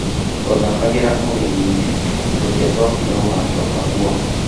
Twathakagĩra ũgeni-inĩ na tũtiacokire gũgacooka kuo